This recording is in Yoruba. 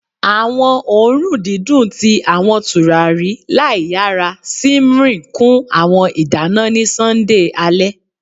Awọn oorun didun ti awọn turari laiyara simmering kun awọn idana ni Sunday ale